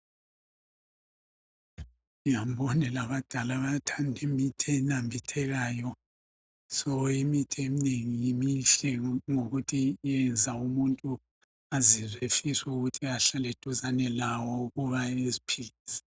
Ngiyangibone labadala abathanda imithi enambithekayo, so imithi eminengi mihle ngokuthi yenza umuntu azizwe efisa ukuthi ahlale eduzane lawo ukuba eziphilise.